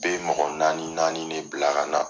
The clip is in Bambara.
Bɛ mɔgɔ naani naani de bila ka na.